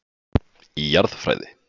Í Jarðfræði.